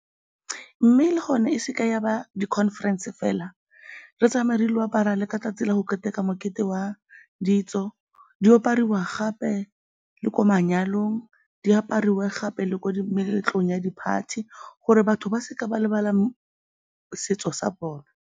Mme le gone e se ke ya ba di-conference fela, re tsamaye re ile go apara le ka 'tsatsi la go keteka mokete wa ditso, di apariwa gape le ko manyalong, di apariwe gape le ko meletlong ya di-party gore batho ba se ka ba lebala setso sa bone.